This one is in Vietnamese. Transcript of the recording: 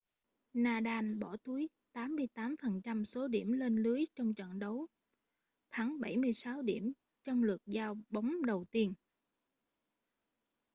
nadal bỏ túi 88% số điểm lên lưới trong trận đấu thắng 76 điểm trong lượt giao bóng đầu tiên